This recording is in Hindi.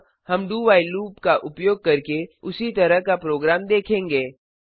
अब हम dowhile लूप का उपयोग करके उसी तरह का प्रोग्राम देखेंगे